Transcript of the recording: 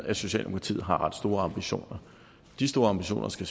at socialdemokratiet har ret store ambitioner de store ambitioner skal